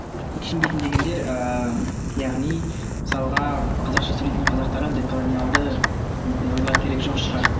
түсінбейтін дегенде ыыы яғни мысалға қазақша сөйлейтін қазақтарға деколониялды мүмкін ойлар керек жоқ шығар